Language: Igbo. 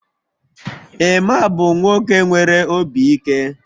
Emma bụ nwoke nwere obi ike